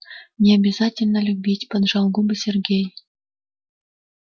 не обязательно любить поджал губы сергей